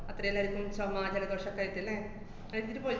അത്രേം നേരത്തും സമാജനപക്ഷത്തായിട്ട്, ല്ലേ? പോയ്